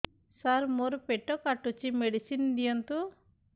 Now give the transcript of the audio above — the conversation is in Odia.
ସାର ମୋର ପେଟ କାଟୁଚି ମେଡିସିନ ଦିଆଉନ୍ତୁ